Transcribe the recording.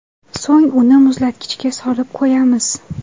So‘ng uni muzlatkichga solib qo‘yamiz.